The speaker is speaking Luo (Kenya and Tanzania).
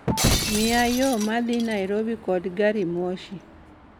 miya yo ma dhi nairobi kod garimoshi